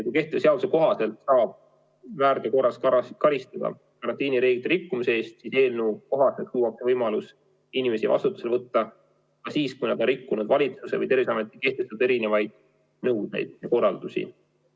Kui kehtiva seaduse kohaselt saab väärteo korras karistada karantiinireeglite rikkumise eest, siis eelnõu kohaselt luuakse võimalus inimesi vastutusele võtta ka siis, kui nad on rikkunud valitsuse või Terviseameti kehtestatud nõudeid ja korraldusi.